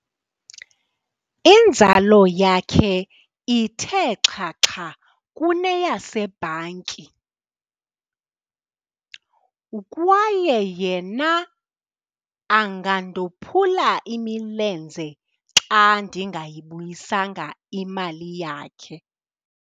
Inzala yakhe ithe xhaxha kuneyasebhanki kwaye yena angandophula imilenze xa ndingayibuyisanga imali yakhe.